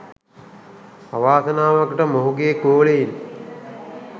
අවාසනාවකට මොහුගේ ගෝලයින්